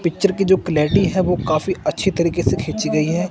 Picture की जो clarity है वो काफी अच्छी तरीके से खींची गई है।